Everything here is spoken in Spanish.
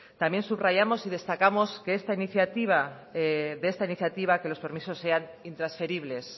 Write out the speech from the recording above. también subrayamos y destacamos de esta iniciativa que los permisos sean intransferibles